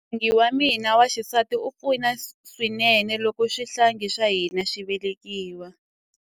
N'wingi wa mina wa xisati a pfuna swinene loko xihlangi xa hina xi velekiwa.